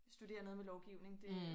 Studere noget med lovgivning det